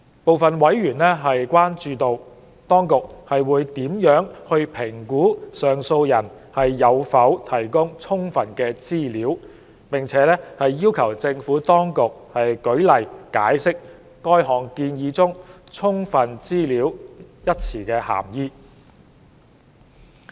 部分委員關注到，當局會如何評估上訴人有否提供"充分"資料，要求政府當局舉例解釋該項建議中"充分資料"一語的涵義。